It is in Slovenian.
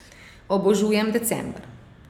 Obožujem december!